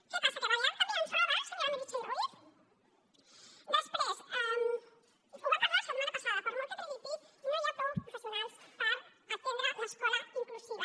què passa que les balears també ens roba senyora meritxell ruiz després ho vam parlar la setmana passada per molt que tregui pit no hi ha prou professionals per atendre l’escola inclusiva